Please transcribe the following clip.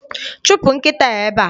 Chụpụ nkịta a ebe a!